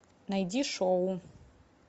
найди шоу